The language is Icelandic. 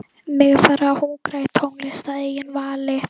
Mig er farið að hungra í tónlist að eigin vali.